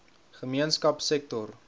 gemeenskapsektor